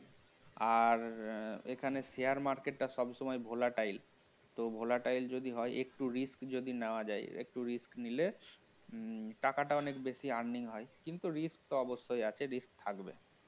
আর এখানে share market টা সব সময় volatile তো volatile যদি হয় একটু risk যদি নেওয়া যায় একটু risk নিলে টাকাটা অনেক বেশি earning হয় কিন্তু risk তো অবশ্যই আছে risk থাকবে